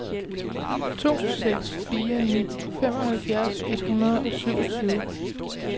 to seks fire ni femoghalvfjerds et hundrede og syvogtyve